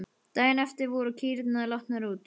Daginn eftir voru kýrnar látnar út.